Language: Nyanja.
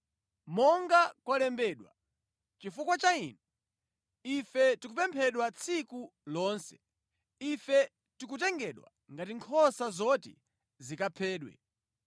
Monga kwalembedwa: “Chifukwa cha inu, ife tikuphedwa tsiku lonse: ife tikutengedwa ngati nkhosa zoti zikaphedwe.”